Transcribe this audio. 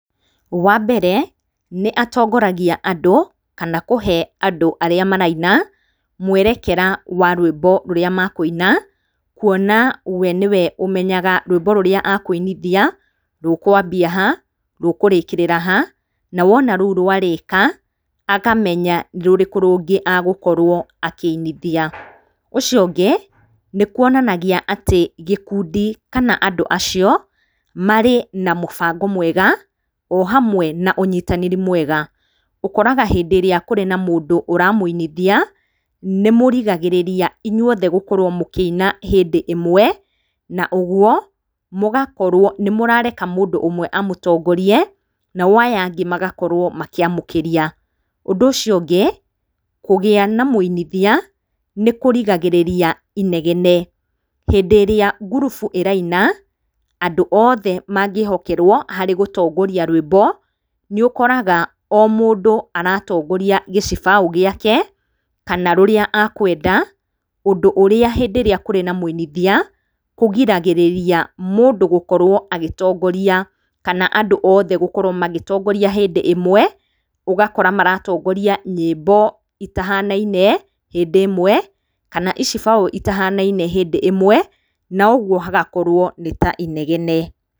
Wa mbere, nĩ atongoragia andũ, kana kũhe andũ arĩa maraina mwerekera wa rwĩmbo rũrĩa makũina, kuona we nĩwe ũmenyaga rwĩmbo rũrĩa akũinithia, rũkwambia ha, rũkũrĩkĩrĩra ha, na wona rũu rwarĩka, akamenya rũrĩkũ rũngĩ agũkorwo akĩinithia, ũcio ũngĩ nĩkwonanagia atĩ gĩkundi, kana andũ acio, marĩ na mũbango mwega, ohamwe na ũnyitanĩri mwega, ũkoraga hĩndĩrĩa kũrĩ na mũndũ ũramũinithia, nĩ mũrigagĩrĩria inyuothe gũkorwo mũkĩina hĩndĩ ĩmwe, na ũguo mũgakorwo nĩ mũrareke mũndũ ũmwe amũtongorie, nao aya angĩ magakorwo makĩamũkĩria, ũndũ ũcio ũngĩ, kũgĩa na mwĩinithia, nĩ kũrigagĩrĩria inegene, hĩndĩrĩa ngurubu ĩraina, andũ othe mangĩhokerwo harĩ gũtongoria rwĩmbo, nĩũkoraga o mũndũ aratongoria gĩcibaũ gĩake, kana rũrĩa akwenda, ũndũ ũrĩa hĩndĩ ĩrĩa kũrĩ na mũinithia, kũgiragĩrĩria mũndũ gũkorwo agĩtongoria, kana andũ othe gũkorwo magĩtongoria hĩndĩ ĩmwe, ũgakora maratongoria nyĩbo itahanaine hĩndĩ ĩmwe, kana icibaũ itahanaine hĩndĩ ĩmwe, na ũguo hagakorwo nĩ ta inegene.